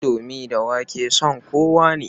Indomi da ƙwai son kowa ne.